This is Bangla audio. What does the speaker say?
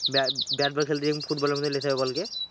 ব্যাব্যাট বল খেলতে যেয়ে ফুটবলের মতো লেসে যাবে বলকে।